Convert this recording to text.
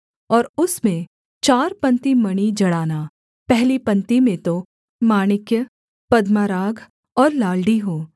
और उसमें चार पंक्ति मणि जड़ाना पहली पंक्ति में तो माणिक्य पद्मराग और लालड़ी हों